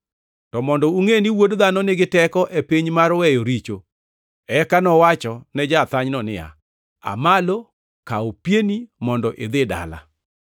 To mondo ungʼe ni Wuod Dhano nigi teko e piny mar weyo richo.” Eka nowachone ja-athanyno niya, “Aa malo kaw pieni mondo idhi dala.”